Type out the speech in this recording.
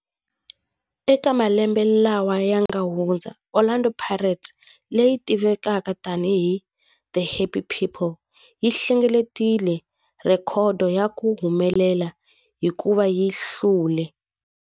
Eka malembe lawa yanga hundza, Orlando Pirates, leyi tivekaka tani hi 'The Happy People', yi hlengeletile rhekhodo ya ku humelela hikuva yi hlule.